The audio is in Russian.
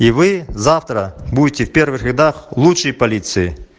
и вы завтра будете в первых рядах лучшие полиции